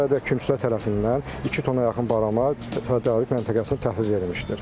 Hal-hazıradək kümçülər tərəfindən 2 tona yaxın barama tədarük məntəqəsinə təhvil verilmişdir.